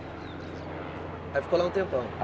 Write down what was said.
Aí ficou lá um tempão?